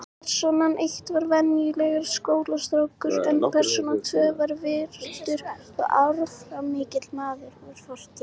Persóna eitt var venjulegur skólastrákur en persóna tvö var virtur og áhrifamikill maður úr fortíð.